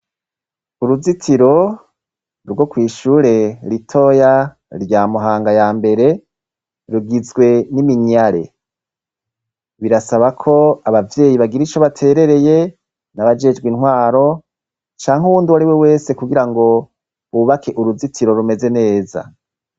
Uruzitiro rwo kwishure ritoya rya Muhanga ya mbere rugizwe n'iminyare, birasabako abavyeyi bagire ico baterereye n'abajejwe intwaro canke uwundi uwariwe wese kugirango bubake uruzitiro rumeze neza.